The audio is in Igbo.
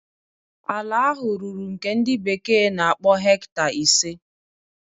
Ala ahụ ruru nke ndi bekee na-akpọ hecta ise.